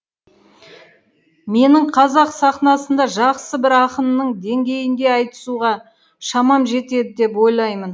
менің қазақ сахнасында жақсы бір ақынның деңгейінде айтысуға шамам жетеді деп ойлаймын